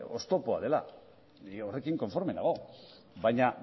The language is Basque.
oztopoa dela ni horrekin konforme nago baina